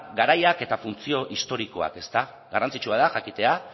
garaiak eta funtzio historikoak garrantzitsua da jakitea